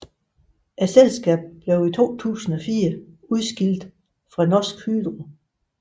Selskabet blev i 2004 udskilt fra Norsk Hydro